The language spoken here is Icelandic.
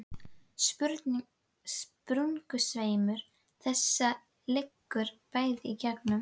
Sprungusveimur þessi liggur bæði í gegnum